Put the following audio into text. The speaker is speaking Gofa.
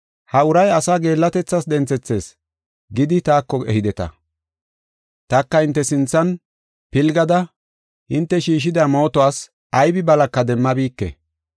“ ‘Ha uray asaa geellatethas denthethees’ gidi taako ehideta. Taka hinte sinthan pilgada hinte shiishida mootuwas aybi balaka demmabike.